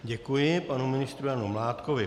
Děkuji panu ministru Janu Mládkovi.